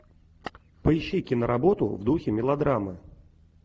поищи киноработу в духе мелодрамы